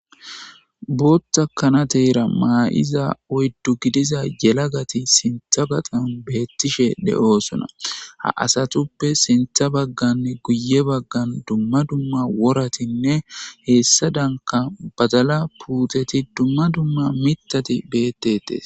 Bootta kanateera maa'iza oyddu gidiza yela gati sintha gaxan beettishe de'oosona ha asatuppe sintha bagganne guye baggan dumma dumma woratinne heessa danka badala puuteti dumma dumma mitati beettetes.